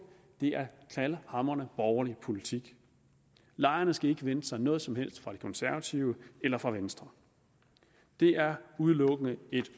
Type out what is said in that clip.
det er knaldhamrende borgerlig politik lejerne skal ikke vente sig noget som helst fra de konservative eller fra venstre det er udelukkende